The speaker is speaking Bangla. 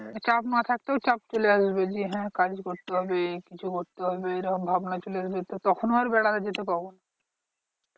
চাপ না থাকতেও চাপ চলে আসবে যে হ্যাঁ কাজ করতে হবে কিছু করতে হবে এইরকম ভাবনা চলে আসবে তো তখন আর বেড়াতে যেতে পাবো?